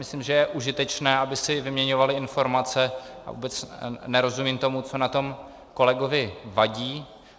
Myslím, že je užitečné, aby si vyměňovaly informace, a vůbec nerozumím tomu, co na tom kolegovi vadí.